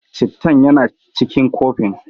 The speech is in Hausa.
Cittan yana cikin kofin.